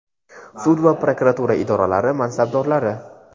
sud va prokuratura idoralari mansabdorlari.